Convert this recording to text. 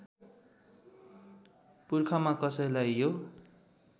पुर्खामा कसैलाई यो